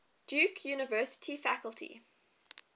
duke university faculty